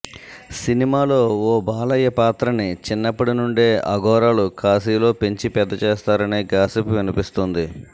సినిమాలో ఓ బాలయ్య పాత్రని చిన్నప్పటి నుండే అఘోరాలు కాశీలో పెంచి పెద్ద చేస్తారనే గాసిప్ వినిపిస్తోంది